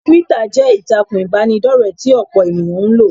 Túwítà jẹ́ ìtàkùn ìbánidọ́rẹ̀ẹ́ tí ọ̀pọ̀ ènìyàn ń lò